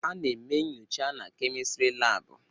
Ana eme nnyocha na Kemịstịrị laabụ.